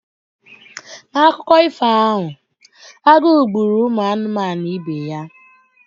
N'akụkọ ifo ahụ, agụ gbụrụ ụmụ anụmanụ ibe ya.